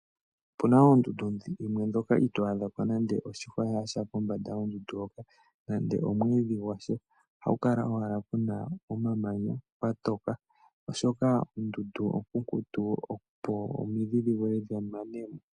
Opu na oondundu dhimwe ndhoka itoo adha ko nande oshihwa shasha kombanda yoondundu hoka, nande omwiidhi gwasha. Oha ku kala owala ku na omamanya, kwa toka oshoka ondundu onkunkutu opo omidhi vule dhi mene mo.